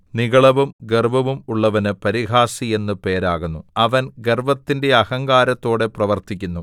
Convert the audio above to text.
നിഗളവും ഗർവ്വവും ഉള്ളവന് പരിഹാസി എന്ന് പേരാകുന്നു അവൻ ഗർവ്വത്തിന്റെ അഹങ്കാരത്തോടെ പ്രവർത്തിക്കുന്നു